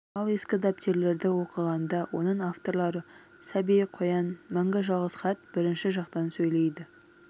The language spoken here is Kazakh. ал ескі дәптерлерді оқығанда оның авторлары-сәби қоян мәңгі жалғыз қарт бірінші жақтан сөйлейді